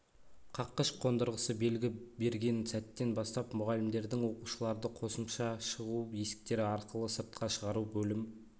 қаққыш қондырғысы белгі берген сәттен бастап мұғалімдердің оқушыларды қосымша шығу есіктері арқылы сыртқа шығару бөлім